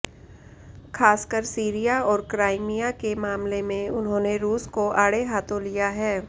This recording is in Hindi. ख़ासकर सीरिया और क्राइमिया के मामले में उन्होंने रूस को आड़े हाथों लिया है